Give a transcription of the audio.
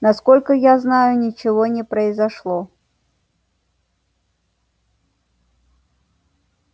насколько я знаю ничего не произошло